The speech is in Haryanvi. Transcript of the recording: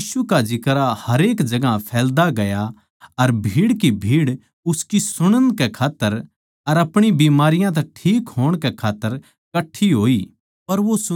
पर यीशु का जिक्रा हरेक जगहां फैल्दा गया अर भीड़ की भीड़ उसकी सुणण कै खात्तर अर अपणी बीमारियाँ तै ठीक होण कै खात्तर कट्ठी होई